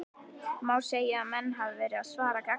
Má segja að hans menn hafi verið að svara gagnrýnisröddum?